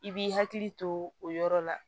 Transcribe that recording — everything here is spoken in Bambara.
I b'i hakili to o yɔrɔ la